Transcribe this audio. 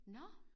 Nåh!